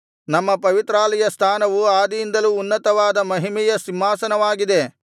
ನಮ್ಮ ಪವಿತ್ರಾಲಯಸ್ಥಾನವು ಆದಿಯಿಂದಲೂ ಉನ್ನತವಾದ ಮಹಿಮೆಯ ಸಿಂಹಾಸನವಾಗಿದೆ